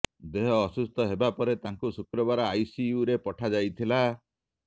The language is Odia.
ଦେହ ଅସୁସ୍ଥ ହେବା ପରେ ତାଙ୍କୁ ଶୁକ୍ରବାର ଆଇସିୟୁରେ ପଠାଯାଇଥିଲା